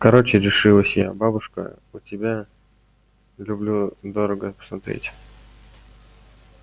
короче решилась я бабушка у тебя люблю дорого смотреть